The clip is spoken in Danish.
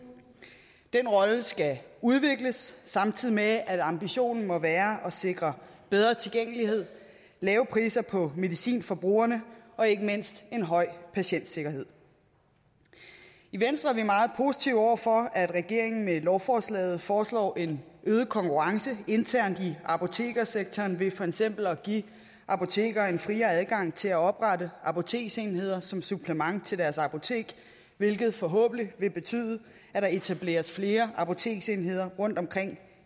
den rolle skal udvikles samtidig med at ambitionen må være at sikre bedre tilgængelighed lave priser på medicin for brugerne og ikke mindst en høj patientsikkerhed i venstre er vi meget positive over for at regeringen med lovforslaget foreslår en øget konkurrence internt i apotekssektoren ved for eksempel at give apotekere en friere adgang til at oprette apoteksenheder som supplement til deres apotek hvilket forhåbentlig vil betyde at der etableres flere apoteksenheder rundtomkring